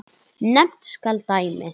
Nefnt skal dæmi.